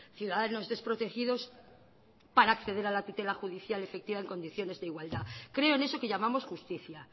ciudadanos desprotegidos para acceder a la tutela judicial efectiva en condiciones de igualdad creo en eso que llamamos justicia